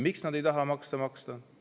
Miks nad ei taha makse maksta?